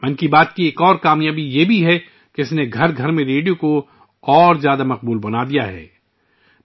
'من کی بات' کی ایک اور کامیابی یہ ہے کہ اس نے ریڈیو کو ہر گھر میں مقبول بنا دیا ہے